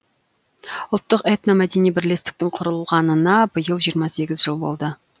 ұлттық этномәдени бірлестіктің құрылғанына биыл жиырма сегіз жыл болды